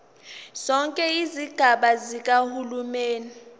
zonke izigaba zikahulumeni